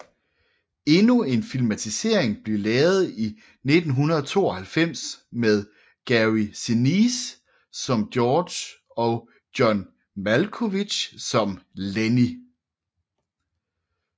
Endnu en filmatisering blev lavet i 1992 med Gary Sinise som George og John Malkovich som Lennie